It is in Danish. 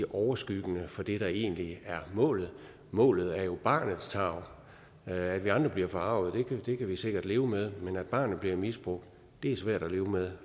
overskyggende for det der egentlig er målet målet er jo barnets tarv at vi andre bliver forarget kan vi sikkert leve med men at barnet bliver misbrugt er svært at leve med